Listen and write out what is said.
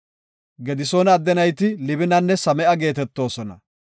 Gedisoona adde nayti Libinanne Same7a geetetoosona.